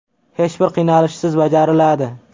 Hech bir qiynalishsiz bajariladi.